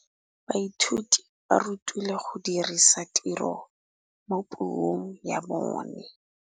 Baithuti ba rutilwe go dirisa tirwa mo puong ya bone.